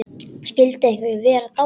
Skyldi einhver vera dáinn?